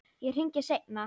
Ég hringi seinna.